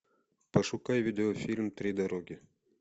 пошукай видеофильм три дороги